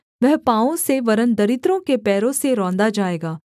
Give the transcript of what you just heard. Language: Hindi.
वह पाँवों से वरन् दरिद्रों के पैरों से रौंदा जाएगा